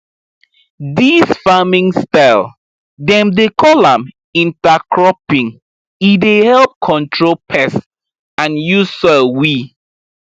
dis farming style dem dey call am intercropping e dey help control pests and use soil we